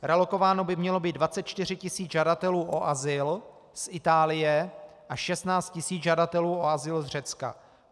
Relokováno by mělo být 24 tisíc žadatelů o azyl z Itálie a 16 tisíc žadatelů o azyl z Řecka.